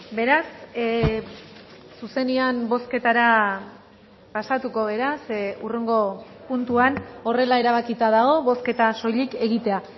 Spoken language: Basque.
beraz zuzenean bozketara pasatuko gara ze hurrengo puntuan horrela erabakita dago bozketa soilik egitea